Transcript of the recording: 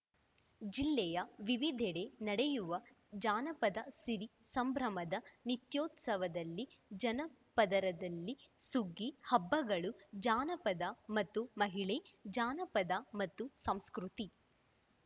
ಜಿಲ್ಲೆಯ ವಿವಿಧೆಡೆ ನಡೆಯುವ ಜಾನಪದ ಸಿರಿ ಸಂಭ್ರಮದ ನಿತ್ಯೋತ್ಸವದಲ್ಲಿ ಜನಪದರದಲ್ಲಿ ಸುಗ್ಗಿ ಹಬ್ಬಗಳು ಜಾನಪದ ಮತ್ತು ಮಹಿಳೆ ಜಾನಪದ ಮತ್ತು ಸಂಸ್ಕೃತಿ